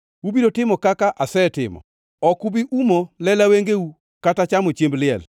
Ubiro timo kaka asetimo. Ok ubi umo lela wengeu kata chamo chiemb liel.